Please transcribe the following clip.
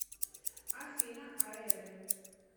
афина аедэ